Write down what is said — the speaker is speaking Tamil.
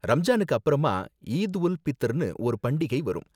ரம்ஜானுக்குப் அப்பறமா ஈத் உல் பித்ர்னு ஒரு பண்டிகை வரும்